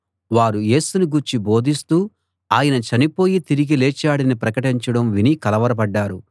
వారు యేసుని గూర్చి బోధిస్తూ ఆయన చనిపోయి తిరిగి లేచాడని ప్రకటించడం విని కలవరపడ్డారు